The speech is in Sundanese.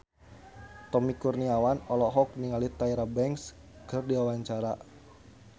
Tommy Kurniawan olohok ningali Tyra Banks keur diwawancara